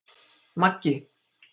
Maggi